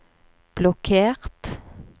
blokkert